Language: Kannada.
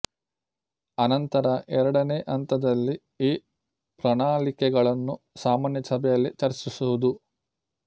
ಅನಂತರ ಎರಡನೆ ಹಂತದಲ್ಲಿ ಈ ಪ್ರಣಾಳಿಕೆಗಳನ್ನು ಸಾಮಾನ್ಯ ಸಭೆಯಲ್ಲಿ ಚರ್ಚಿಸುವುದು